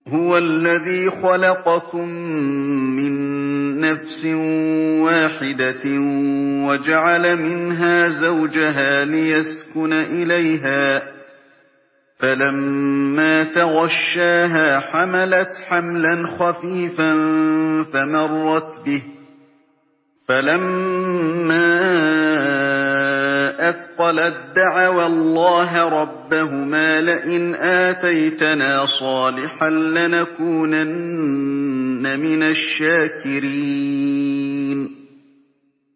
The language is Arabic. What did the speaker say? ۞ هُوَ الَّذِي خَلَقَكُم مِّن نَّفْسٍ وَاحِدَةٍ وَجَعَلَ مِنْهَا زَوْجَهَا لِيَسْكُنَ إِلَيْهَا ۖ فَلَمَّا تَغَشَّاهَا حَمَلَتْ حَمْلًا خَفِيفًا فَمَرَّتْ بِهِ ۖ فَلَمَّا أَثْقَلَت دَّعَوَا اللَّهَ رَبَّهُمَا لَئِنْ آتَيْتَنَا صَالِحًا لَّنَكُونَنَّ مِنَ الشَّاكِرِينَ